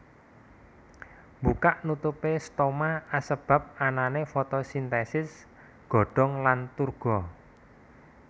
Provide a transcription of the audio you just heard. Mbukak nutupé stoma asebab anané fotosintèsis godhong lan turgo